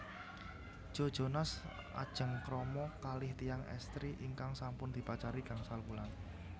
Joe Jonas ajeng krama kalih tiyang estri ingkang sampun dipacari gangsal wulan